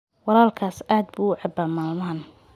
Walaalkaas aad buu u cabbaa maalmahan.